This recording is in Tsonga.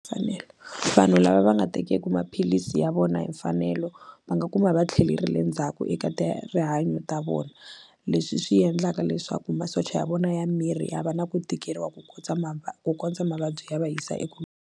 Mfanelo vanhu lava va nga tekeku maphilisi ya vona hi mfanelo va nga kuma va tlhelerile endzhaku eka ta rihanyo ta vona leswi swi endlaka leswaku masocha ya vona ya miri ya va na ku tikeriwa ku ma ku kondza mavabyi ya va yisa eku.